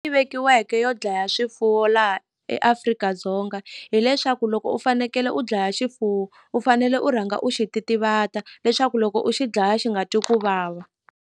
Yi vekiweke yo dlaya swifuwo laha eAfrika-Dzonga hileswaku loko u fanekele u dlaya xifuwo u fanele u rhanga u xi titivata leswaku loko u xi dlaya xi nga twi ku vava.